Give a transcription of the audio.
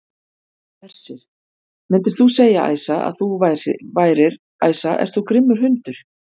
Hersir: Myndir þú segja, Æsa, að þú værir, Æsa ert þú grimmur hundur?